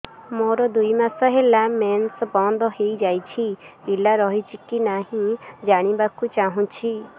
ମୋର ଦୁଇ ମାସ ହେଲା ମେନ୍ସ ବନ୍ଦ ହେଇ ଯାଇଛି ପିଲା ରହିଛି କି ନାହିଁ ଜାଣିବା କୁ ଚାହୁଁଛି